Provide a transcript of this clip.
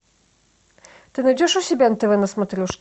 ты найдешь у себя нтв на смотрешке